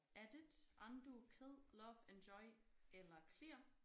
Edit undo kill love enjoy eller clear